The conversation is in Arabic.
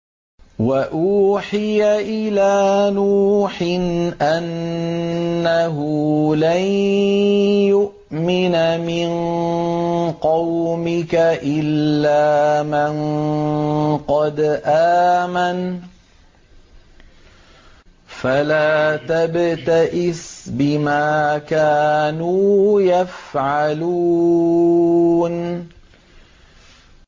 وَأُوحِيَ إِلَىٰ نُوحٍ أَنَّهُ لَن يُؤْمِنَ مِن قَوْمِكَ إِلَّا مَن قَدْ آمَنَ فَلَا تَبْتَئِسْ بِمَا كَانُوا يَفْعَلُونَ